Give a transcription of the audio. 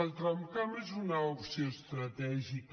el tramcamp és una opció estratègica